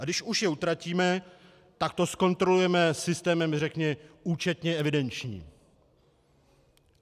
A když už je utratíme, tak to zkontrolujeme systémem řekněme účetně evidenčním.